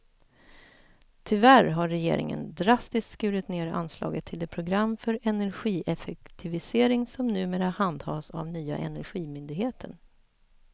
Tyvärr har regeringen drastiskt skurit ned anslaget till det program för energieffektivisering som numera handhas av nya energimyndigheten.